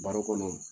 Baro kɔnɔ